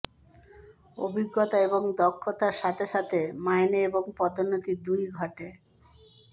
অভিজ্ঞতা এবং দক্ষতার সাথে সাথে মাইনে এবং পদোন্নতি দুই ই ঘটে